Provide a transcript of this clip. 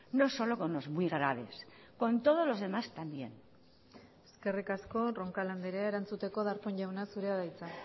no solo con los muy graves con todos los demás también eskerrik asko roncal andrea erantzuteko darpón jauna zurea da hitza